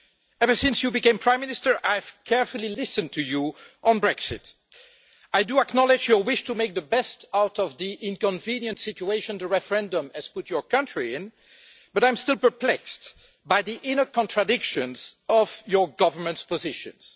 Ever since you became Prime Minister, I have carefully listened to you on Brexit. I do acknowledge your wish to make the best out of the inconvenient situation the referendum has put your country in, but I am still perplexed by the inner contradictions of your government's positions.